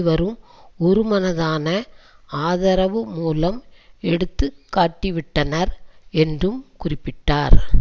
வரும் ஒருமனதான ஆதரவு மூலம் எடுத்துக்காட்டிவிட்டனர் என்றும் குறிப்பிட்டார்